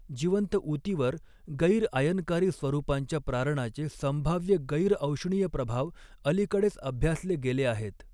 जिवंत ऊतीवर, गैर आयनकारी स्वरूपांच्या प्रारणाचे संभाव्य गैर औष्णीय प्रभाव अलीकडेच अभ्यासले गेले आहेत.